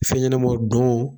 Fɛn ɲɛnama, ndon